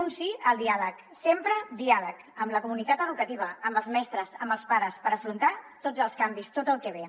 un sí al diàleg sempre diàleg amb la comunitat educativa amb els mestres amb els pares per afrontar tots els canvis tot el que ve